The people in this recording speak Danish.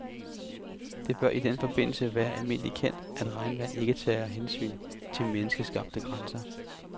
Det bør i den forbindelse være almindeligt kendt, at regnvand ikke tager hensyn til menneskeskabte grænser.